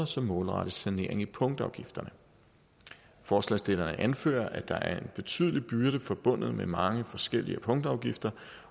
som målrettes sanering i punktafgifterne forslagsstillerne anfører at der er en betydelig byrde forbundet med mange forskellige punktafgifter